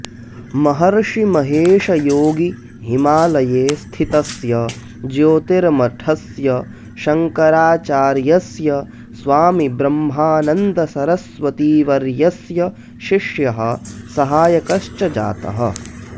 महर्षि महेश योगी हिमालये स्थितस्य ज्योतिर्मठस्य शङ्कराचार्यस्य स्वामीब्रह्मानन्दसरस्वतीवर्यस्य शिष्यः सहायकश्च जातः